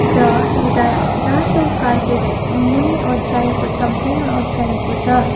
र एउटा रातो कार्पेट मुनि ओछाएको छ भूइँमा ओछ्याएको छ।